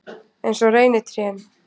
Eins og reynitrén.